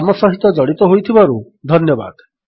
ଆମ ସହିତ ଜଡ଼ିତ ହୋଇଥିବାରୁ ଧନ୍ୟବାଦ